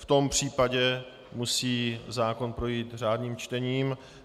V tom případě musí zákon projít řádným čtením.